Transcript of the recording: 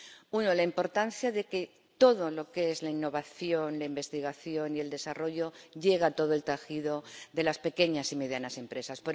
Una la importancia de que todo lo que es la innovación, la investigación y el desarrollo llegue a todo el tejido de las pequeñas y medianas empresas